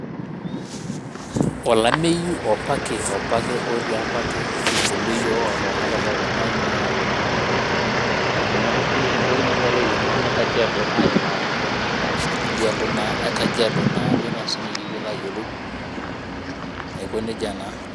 Olameyu opake opake otii apa ake kibulu iyiok oo tenakata ake naa ina ina entoki nagira ilairemok le Kajiado aimaa tidia alo naa e kajiado naa ajo naa sinanu piilo ayiolou aiko neija naa.